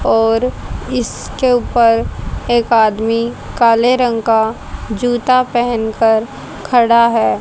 और इसके ऊपर एक आदमी काले रंग का जूता पहनकर खड़ा है।